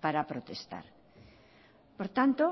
para protestar por tanto